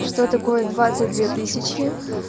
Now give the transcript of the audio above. что такое двадцать две тысячи